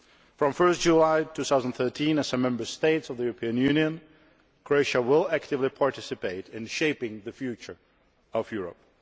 From 1 July 2013, as a Member State of the European Union, Croatia will actively participate in shaping the future of Europe.